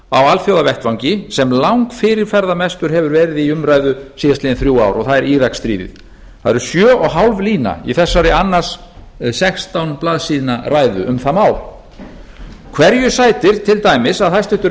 alþjóðavettvangi sem langfyrirferðarmestur hefur verið í umræðu síðastliðin þrjú ár og það er íraksstríðið það eru sjö og hálf lína í þessari annars sextán blaðsíðna ræðu um það mál hverju sætir til dæmis að hæstvirtur